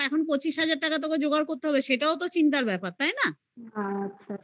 পঁচিশ হাজার টাকা তোকে জোগাড় করতে হবে. সেটাও তো চিন্তার ব্যাপার. তাই না